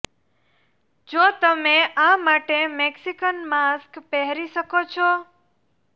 જો તમે આ માટે મેક્સીકન માસ્ક પહેરી શકો છો